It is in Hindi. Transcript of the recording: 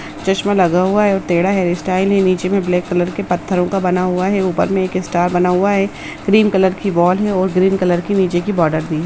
चश्मा लगा हुआ है टेढ़ा हेयर स्टाइल है नीचे में ब्लैक कलर के पत्थरों का बना हुआ है और ऊपर में एक स्टार बना हुआ है क्रीम कलर की वॉल है और ग्रीन कलर की नीचे की बॉर्डर दी है।